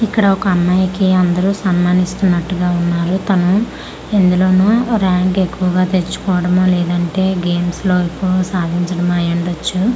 ఇక్కడ ఒక అమ్మాయికి అందరు సన్మానిస్తున్నట్టుగా వున్నారు తను ఎందులోనో ర్యాంక్ ఎక్కువగా తెచ్చుకోవడమో లేదంటే గేమ్స్ లో ఎక్కువ సాధించడం అయ్యుండొచ్చు .